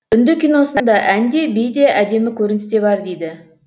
үнді киносында ән де би де әдемі көріністе бар дейді